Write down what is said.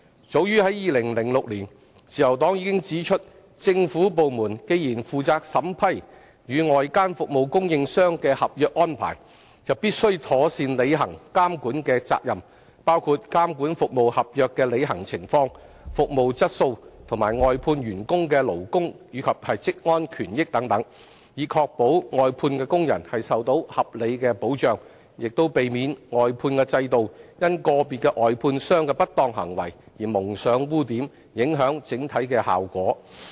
早於2006年，自由黨已指出政府部門既然負責審批與外間服務供應商的合約安排，就必須妥善履行監管的責任，包括監管服務合約的履行情況、服務質素和外判員工的勞工及職安權益等，以確保外判工人受到合理保障，亦避免外判制度因個別外判商的不當行為而蒙上污點，影響整體的效果。